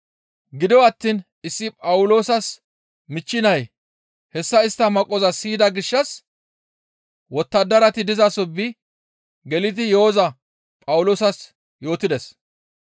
Gido attiin issi Phawuloosas michchi nay hessa istta maqqoza siyida gishshas wottadarati dizaso bi gelidi yo7oza Phawuloosas yootides.